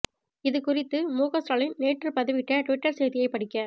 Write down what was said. இது குறித்து முக ஸ்டாலின் நேற்று பதிவிட்ட ட்விட்டர் செய்தியைப் படிக்க